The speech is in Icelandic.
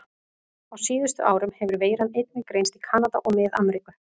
Á síðustu árum hefur veiran einnig greinst í Kanada og Mið-Ameríku.